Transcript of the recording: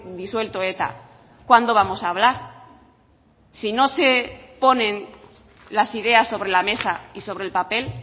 disuelto eta cuándo vamos a hablar si no se ponen las ideas sobre la mesa y sobre el papel